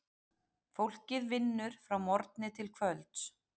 Fólkið vinnur frá morgni til kvölds.